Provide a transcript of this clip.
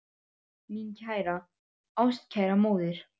Mín kæra, ástkæra móðir.